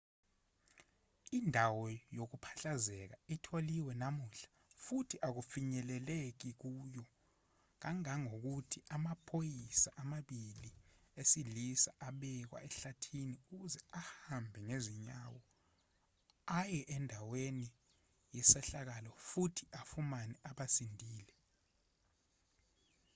indawo yokuphahlazeka itholwe namuhla futhi akufinyeleleki kuyo kangangokuthi amaphoyisa amabili esilisa abekwa ehlathini ukuze ahambe ngezinyawo aye andaweni yesehlakalo futhi afune abasindile